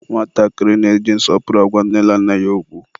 nwatakịrị na-eji nsọpụrụ agwa nne na nna ya okwu.